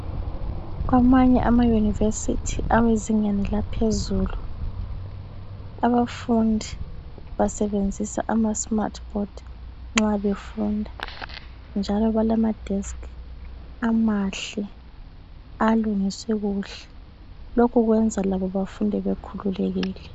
Kwamanye ama university awezingeni laphezulu abafundi basebenzisa ama smartboard nxa befunda ,njalo balamadesk amahle alungiswe kuhle .Lokhu kwenza labo bafunde bekhululekile.